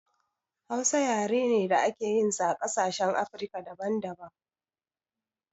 Hausa yare ne da ake yin sa a ƙasashen afrika daban daban